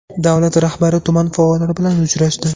Davlar rahbari tuman faollari bilan uchrashdi .